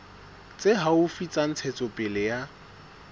tse haufi tsa ntshetsopele ya